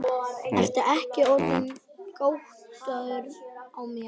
Ertu ekki orðinn gáttaður á mér.